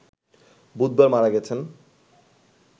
বুধবার মারা গেছেন